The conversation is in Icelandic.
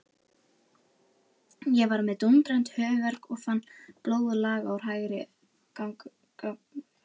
Ég var með dúndrandi höfuðverk og fann blóð laga úr hægra gagnauga.